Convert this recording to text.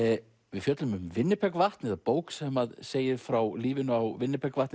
við fjöllum um Winnipegvatn eða bók sem segir frá lífinu á